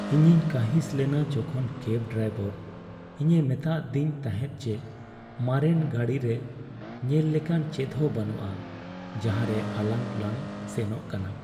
ᱤᱧᱤᱧ ᱠᱟᱺᱦᱤᱥ ᱞᱮᱱᱟ ᱡᱚᱠᱷᱚᱱ ᱠᱮᱵᱽ ᱰᱟᱭᱵᱚᱨ ᱤᱧᱮ ᱢᱮᱛᱟᱫᱤᱧ ᱛᱟᱦᱮᱸᱫ ᱡᱮ ᱢᱟᱨᱮᱱ ᱜᱟᱲᱨᱮ ᱧᱮᱞ ᱞᱮᱠᱟᱱ ᱪᱮᱫᱦᱚᱸ ᱵᱟᱹᱱᱩᱜᱼᱟ, ᱡᱟᱦᱟᱸᱨᱮ ᱟᱞᱟᱝ ᱞᱟᱝ ᱥᱮᱱᱚᱜ ᱠᱟᱱᱟ ᱾᱾